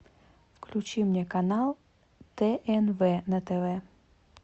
включи мне канал тнв на тв